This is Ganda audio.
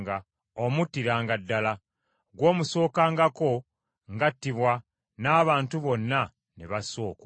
Omuttiranga ddala. Gw’omusokangako ng’attibwa n’abantu bonna ne bassa okwo.